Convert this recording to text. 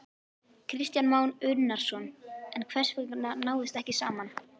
Kristján Már Unnarsson: En hvers vegna náðist ekki saman?